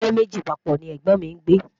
ilé méjì papọ̀ ní ègbón mí ngbe